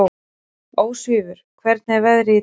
Ósvífur, hvernig er veðrið í dag?